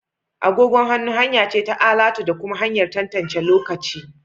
Agogon hannu hanya ce ta alatu da kuma hanyar tantance lokaci